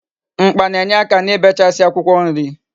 Mkpa na-enyeaka n'ibechasi akwukwo nri